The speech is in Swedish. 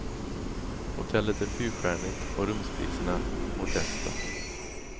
Hotellet är fyrstjärnigt och rumspriserna modesta.